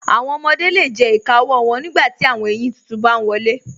Awọn ọmọde le jẹ ìkà ọwọ wọn nígbàtí awọn èyin títún bá n wọlé.